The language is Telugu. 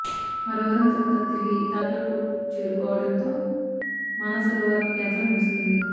మరో వారం తరవాత తిరిగి టాక్లకోట్ చేరుకోవడంతో మానసరోవర్ యాత్ర ముగుస్తుంది